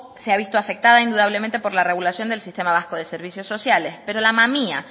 se ha visto afectada indudablemente por la regulación del sistema vasco de servicios sociales pero la mamia